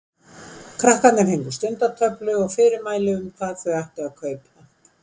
Krakkarnir fengu stundatöflu og fyrirmæli um hvað þau ættu að kaupa.